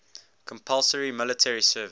compulsory military service